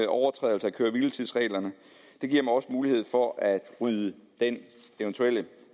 overtrædelser af køre hvile tids reglerne det giver mig også mulighed for at rydde den eventuelle